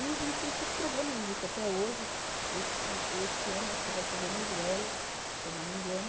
E existem esses programas, existem até hoje, esse esse ano acho que vai ser Venezuela, se eu não me engano,